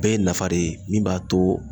Bɛɛ ye nafa de ye ,min b'a to